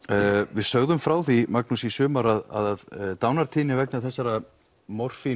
við sögðum frá því Magnús í sumar að dánartíðni vegna þessara